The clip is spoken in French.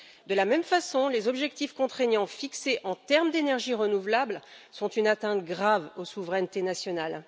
De la même façon, les objectifs contraignants d'énergies renouvelables sont une atteinte grave aux souverainetés nationales.